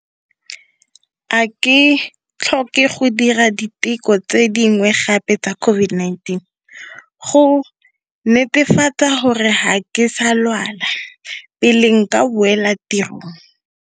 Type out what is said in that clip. A ke tlhoka go dira diteko tse dingwe gape tsa COVID-19, go netefatsa gore ga ke sa lwala, pele nka boela tirong?